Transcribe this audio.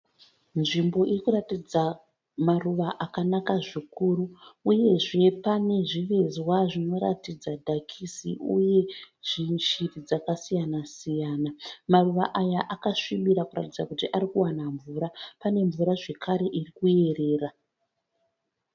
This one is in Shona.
Nzvimbo iri kuratidza maruva akanaka zvikuru uyezve pane zvivezwa zvinoratidza dhakisi uye shiri dzakasiyana siyana. Maruva aya akasvibira kuratidza kuti ari kuwana mvura pane mvura zvakare iri kuyerera.